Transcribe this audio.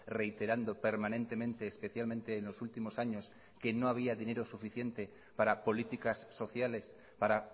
reiterando permanentemente especialmente en los últimos años que no había dinero suficiente para políticas sociales para